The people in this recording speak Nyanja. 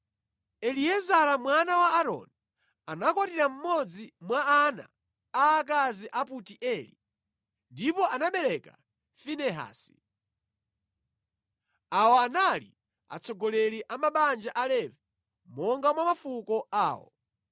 Eliezara mwana wa Aaroni anakwatira mmodzi mwa ana aakazi a Putieli, ndipo anabereka Finehasi. Awa anali atsogoleri a mabanja a Levi, monga mwa mafuko awo.